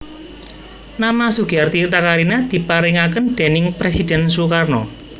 Nama Sugiarti Takarina diparengaken déning Presiden Sukarno